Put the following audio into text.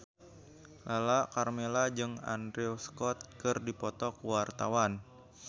Lala Karmela jeung Andrew Scott keur dipoto ku wartawan